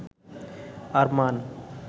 Arman